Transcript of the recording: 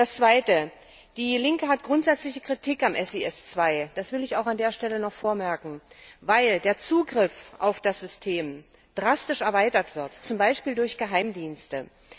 Das Zweite Die Linke übt grundsätzlich Kritik an SIS II das will ich auch an dieser Stelle noch anmerken weil der Zugriff auf das System drastisch erweitert wird, zum Beispiel durch Geheimdienste.